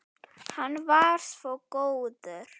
Hann var svo góður.